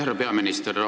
Härra peaminister!